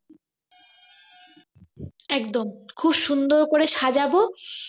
একদম খুব সুন্দর করে সাজাব